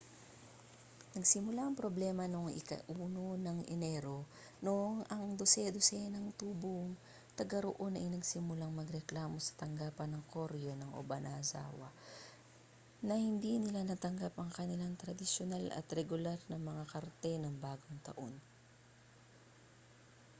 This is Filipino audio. nagsimula ang problema noon ika-1 ng enero noong ang dose-dosenang tubong tagaroon ay nagsimulang magreklamo sa tanggapan ng koreo ng obanazawa na hindi nila natanggap ang kanilang tradisyonal at regular na mga karte ng bagong taon